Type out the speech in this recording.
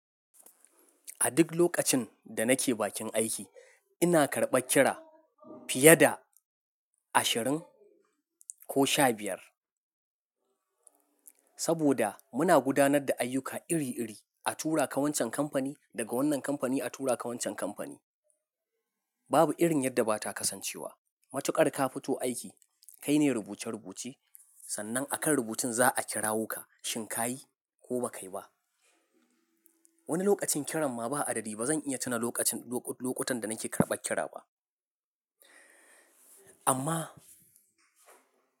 A duk lokacin da nake bakin aiki, ina karɓar kira fiye da ashirin ko sha biyar. Saboda muna gudanar da ayyuka iri-iri, a tura ka wancan kamfani, daga wannan kamfani a tura ka wancan kamfani. Babu irin yadda ba ta kasancewa. Matukar ka fito aiki, kaine rubuce-rubuce, sannan a kan rubutun za a kirawo ka shin ka yi ko ba kayi ba. Wani lokacin kiran ma ba a daɗe ba. Zan iya tuna lokacin-- lokutan da nake karɓar kira ba. Amma.